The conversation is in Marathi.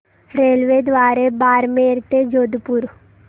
रेल्वेद्वारे बारमेर ते जोधपुर